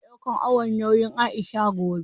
Zamu sake ɗaukan awon nauyin Aisha gobe